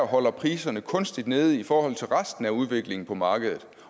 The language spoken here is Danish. holder priserne kunstigt nede i forhold til resten af udviklingen på markedet